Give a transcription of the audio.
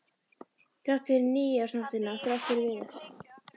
Þrátt fyrir nýársnóttina, þrátt fyrir Viðar.